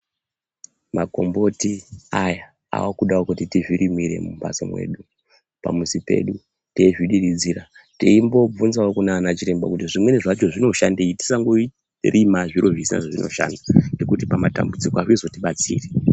Makomboti aya akudawo kuti tizviromire mumbatso mwedu ,pamuzi pedu teizvidiridzira teimbovhunzawo kunana chiremba zvimweni zvacho zvinoshandei tisangorima zviro zvisina zvazvinoshanda ngekuti pamatambudziko azvizotibatsiri.